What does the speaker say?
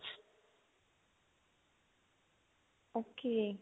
okay